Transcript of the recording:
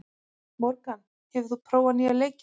Morgan, hefur þú prófað nýja leikinn?